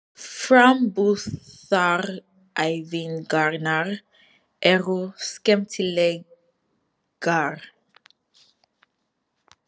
Framburðaræfingarnar eru skemmtilegar.